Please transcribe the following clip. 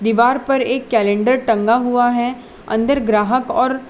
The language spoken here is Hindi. दीवार पर एक कैलेंडर टंगा हुआ है अंदर ग्राहक और --